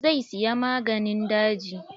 Zai siya maganin daji.